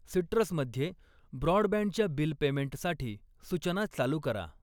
Citrus मध्ये ब्रॉडबँडच्या bill पेमेंटसाठी सूचना चालू करा.